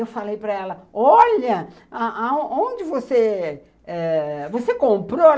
Eu falei para ela, olha, onde você eh... Você comprou?